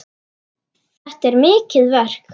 Þetta er mikið verk.